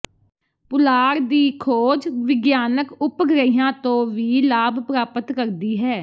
ਪੁਲਾੜ ਦੀ ਖੋਜ ਵਿਗਿਆਨਕ ਉਪਗ੍ਰਹਿਾਂ ਤੋਂ ਵੀ ਲਾਭ ਪ੍ਰਾਪਤ ਕਰਦੀ ਹੈ